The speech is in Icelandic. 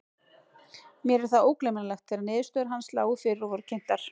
Mér er það ógleymanlegt þegar niðurstöður hans lágu fyrir og voru kynntar.